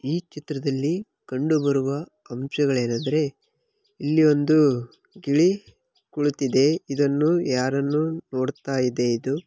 ಈ ಚಿತ್ರದಲ್ಲಿ ಕಂಡು ಬರುವ ಅಂಶಗಳೇನೆಂದರೆ ಇಲ್ಲಿ ಒಂದು ಗಿಳಿ ಕುಳಿತಿದೆ ಇದನ್ನು ಯಾರನ್ನೋ ನೋಡ್ತಾ ಇದೆ ಇದು .